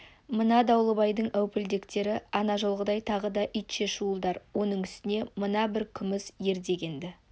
мына дауылбайдың әупілдектері ана жолғыдай тағы да итше шуылдар оның үстіне мына бір күміс ер дегенді